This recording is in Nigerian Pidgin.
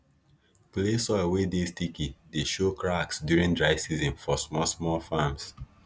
clay soil wey dey sticky dey show cracks during dry season for small small farms